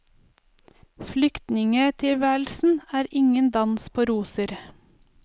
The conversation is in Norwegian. Flyktningetilværelsen er ingen dans på roser.